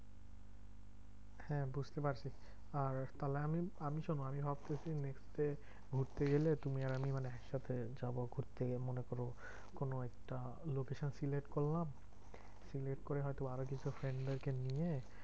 হ্যাঁ বুঝতে পারছি। আর তাহলে আমি আমি শোনো আমি ভাবতেছি next day ঘুরতে গেলে তুমি আর আমি মানে একসাথে যাবো। ঘুরতে গিয়ে মনে করো কোনো একটা location select করলাম, select করে হয়তো আরো কিছু friend দের কে নিয়ে